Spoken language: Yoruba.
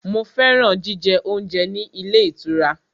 Mo fẹ́ràn jíjẹ oúnjẹ ní ilé ìtura.